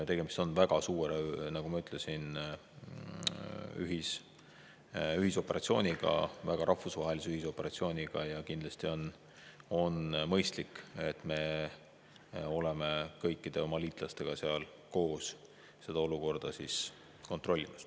Tegemist on, nagu ma ütlesin, väga suure ühisoperatsiooniga, väga rahvusvahelise ühisoperatsiooniga ja kindlasti on mõistlik, et me oleme koos oma liitlastega seal seda olukorda kontrollimas.